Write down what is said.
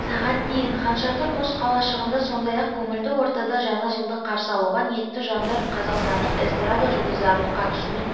сағат дейін хан шатыр мұз қалашығында сондай-ақ көңілді ортада жаңа жылды қарсы алуға ниетті жандар қазақстандық эстрада жұлдыздарының қатысуымен